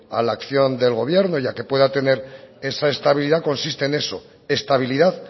a la acción del gobierno y a que pueda tener esa estabilidad consiste en eso estabilidad